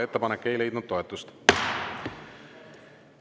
Ettepanek ei leidnud toetust.